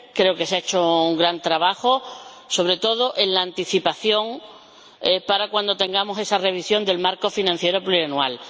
Creo que se ha hecho un gran trabajo, sobre todo en la anticipación, para cuando tengamos esa revisión del marco financiero plurianual.